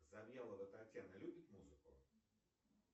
завьялова татьяна любит музыку